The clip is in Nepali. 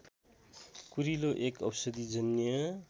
कुरिलो एक औषधिजन्य